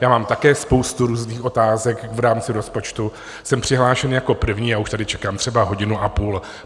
Já mám také spoustu různých otázek v rámci rozpočtu, jsem přihlášen jako první a už tady čekám třeba hodinu a půl.